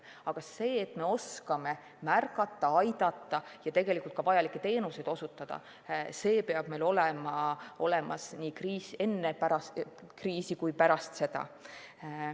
Aga see, et me oskame märgata, aidata ja vajalikke teenuseid osutada, peab meil tagatud olema nii enne kriisi kui ka pärast seda.